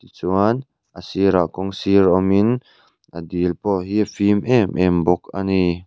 tichuan a sirah kawng sir awmin a dil pawh hi fim em em bawk a ni.